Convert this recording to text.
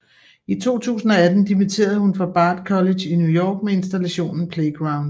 I 2018 dimitterede hun fra Bard College i New York med installationen Playground